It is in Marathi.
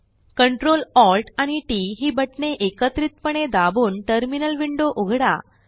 Ctrl Alt आणि टीटी ही बटणे एकत्रितपणे दाबून टर्मिनल विंडो उघडा